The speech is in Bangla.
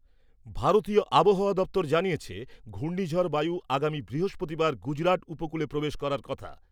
ভারতীয় আবহাওয়া দপ্তর জানিয়েছে, ঘূর্ণিঝড় বায়ু আগামী বৃহস্পতিবার গুজরাট উপকূলে প্রবেশ করার কথা।